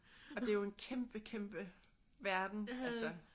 Og det er jo en kæmpe kæmpe verden altså